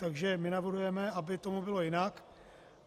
Takže my navrhujeme, aby tomu bylo jinak.